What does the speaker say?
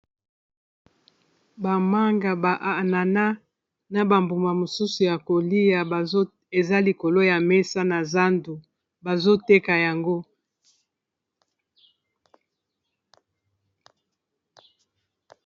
bamanga ba anana na bambuma mosusu ya kolia eza likolo ya mesa na zandu bazoteka yango